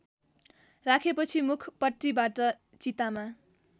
राखेपछि मुखपट्टिबाट चितामा